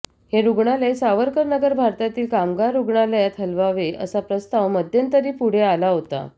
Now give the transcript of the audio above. हे रुग्णालय सावरकरनगर भागातील कामगार रुग्णालयात हलवावे असा प्रस्ताव मध्यंतरी पुढे आला होता